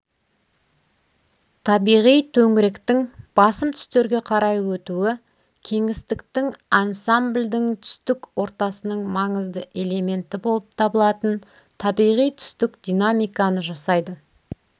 табиғи төңіректің басым түстерге қарай өтуі кеңістіктің ансамбльдің түстік ортасының маңызды элементі болып табылатын табиғи түстік динамиканы жасайды